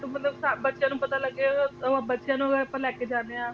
ਜਿਹੜੇ ਮਤਲਬ ਬੱਚਿਆਂ ਨੂੰ ਪਤਾ ਲੱਗੇ ਤੇ ਉਹ ਬੱਚਿਆਂ ਨੂੰ ਵੀ ਆਪਾਂ ਲੈਕੇ ਜਾਣੇ ਆ